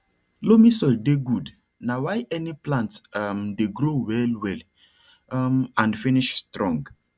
loamy soil dey good na why any plant um dey grow well well um and finish strong